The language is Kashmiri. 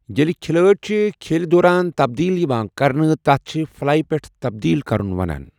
ییٛلہِ کھلٲڑۍ چھِ کھیلہِ دوران تبدیل یِوان کرنہٕ، تتھ چھِ فلائی پٮ۪ٹھ تبدیل کرُن وَنان۔